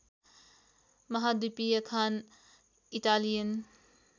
महाद्वीपीय खान इटालियन